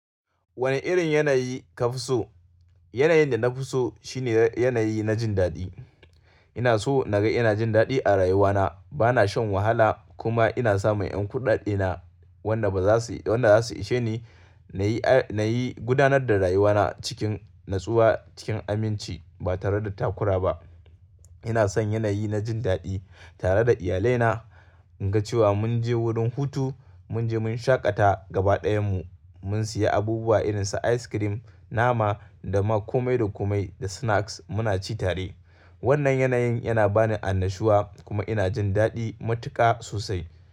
Wane irin yanayi ka fi so? Yanayin da na fi so shine yanayi na jin daɗi. Ina so na ga ina jin daɗi a rayuwana. Bana shan wahala kuma ina samun ƴan kuɗaɗena wanda ba za su wanda za su ishe ni. Na yi, na yi gudanar da rayuwana cikin natsuwa, cikin aminci ba tare da takura ba. Ina son yanayi na jin daɗi tare da iyalai na, in ga cewa mun je wurin hutu, mun je mun shaƙata gaba ɗayan mu, mun siya abubuwa irin su ice cream, nama da kuma dokomai da snacks muna ci tare. Wannan yanayin yana ba ni annashuwa kuma ina jin daɗi matuƙa sosai.